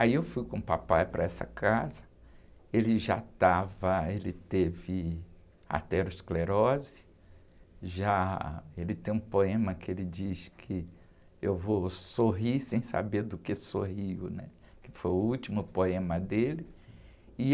Aí eu fui com o papai para essa casa, ele já estava, ele teve aterosclerose, já, ele tem um poema que ele diz que eu vou sorrir sem saber do que sorrio, né? Que foi o último poema dele. E...